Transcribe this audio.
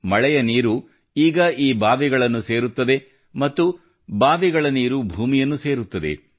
ಮಳೆಯ ನೀರು ಈಗ ಈ ಬಾವಿಗಳನ್ನು ಸೇರುತ್ತದೆ ಮತ್ತು ಬಾವಿಗಳ ನೀರು ಭೂಮಿಯನ್ನು ಸೇರುತ್ತದೆ